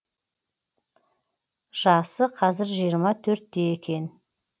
жасы қазір жиырма төртте екен